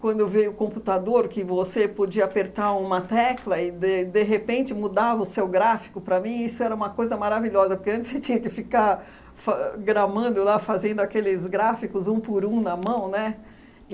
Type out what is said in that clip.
Quando veio o computador, que você podia apertar uma tecla e, de de repente, mudava o seu gráfico para mim, isso era uma coisa maravilhosa, porque antes você tinha que ficar fa gramando lá, fazendo aqueles gráficos, um por um, na mão, né?